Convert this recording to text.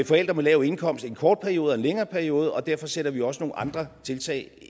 forældre på lav indkomst i en kort periode og i en længere periode og derfor sætter vi også nogle andre tiltag